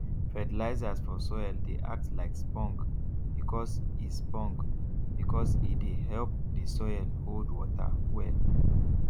fertilizers for soil dey act like spong because e spong because e dey help the soil hold water well